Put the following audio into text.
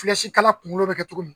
kala kunkolo bɛ kɛ cogo min.